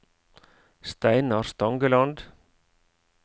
Steinar Stangeland